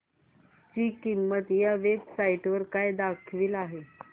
ची किंमत या वेब साइट वर काय दाखवली आहे